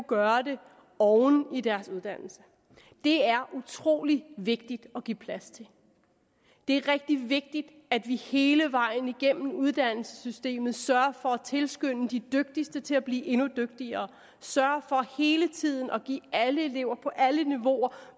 gøre det oven i deres uddannelse det er utrolig vigtigt at give plads til det er rigtig vigtigt at vi hele vejen igennem uddannelsessystemet sørger for at tilskynde de dygtigste til at blive endnu dygtigere sørger for hele tiden at give alle elever på alle niveauer